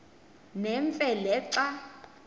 nemfe le xa